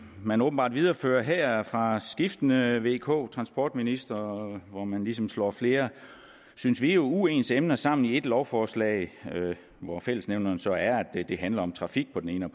man åbenbart viderefører her fra skiftende vk transportministre hvor man ligesom slår flere synes vi uens emner sammen i et lovforslag hvor fællesnævneren så er at det handler om trafik på den ene